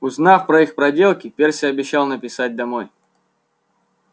узнав про их проделки перси обещал написать домой